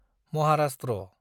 Maharashtra